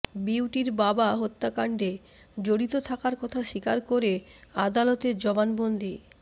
বিউটির বাবা হত্যাকাণ্ডে জড়িত থাকার কথা স্বীকার করে আদালতে জবানবন্দি